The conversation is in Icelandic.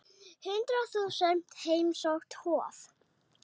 Hundrað þúsund heimsótt Hof